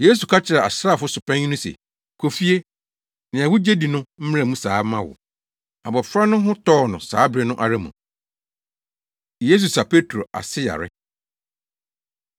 Yesu ka kyerɛɛ asraafo so panyin no se, “Kɔ fie. Nea wugye di no mmra mu saa mma wo!” Abofra no ho tɔɔ no saa bere no ara mu! Yesu Sa Petro Ase Yare